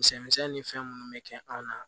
Misɛn misɛnnin ni fɛn minnu bɛ kɛ anw na